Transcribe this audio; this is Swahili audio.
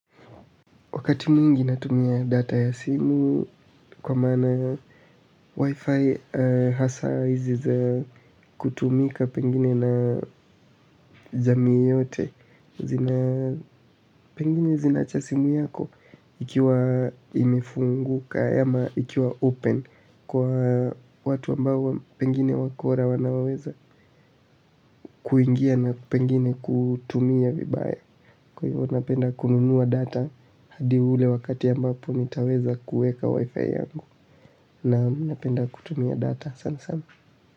Wakati mwingi natumia data ya simu kwa maana wifi hasa hizi za kutumika pengine na jamii yote zina pengine zinacha simu yako ikiwa imefunguka ama ikiwa open kwa watu ambao pengine wakora wanaweza kuingia na pengine kutumia vibaya. Kwa hivyo napenda kununua data, hadi ule wakati ya mbapo nitaweza kueka wifi yangu na minapenda kutumia data, sana sana.